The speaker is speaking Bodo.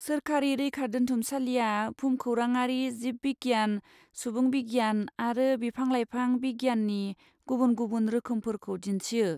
सोरखारि रैखादोन्थुमसालिया भुमखौराङारि, जिब बिगियान, सुबुं बिगियान आरो बिफां लाइफां बिगियाननि गुबुन गुबुन रोखोमफोरखौ दिन्थियो।